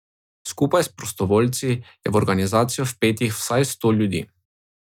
Skupaj s prostovoljci je v organizacijo vpetih vsaj sto ljudi.